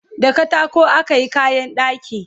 da katako akayi kayan ɗaki